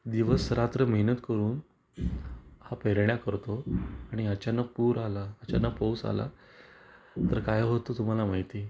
दिवस रात्र मेहनत करून हा पेरण्या करतो आणि अचानक पूर आला अचानक पाऊस आला तर काय होत तुम्हाला माहिती आहे?